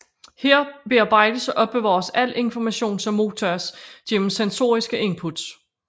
Her bearbejdes og opbevares al information som modtages gennem sensoriske inputs